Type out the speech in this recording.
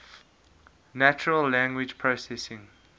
natural language processing